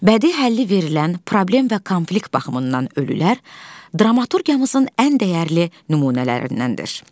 Bədii həlli verilən problem və konflikt baxımından ölülər dramaturqiyamızın ən dəyərli nümunələrindəndir.